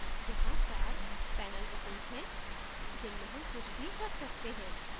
यहाँ चार panel regions हैं जिनमें हम कुछ भी रख सकते हैं